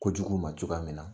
Ko jugu ma cogoya min na.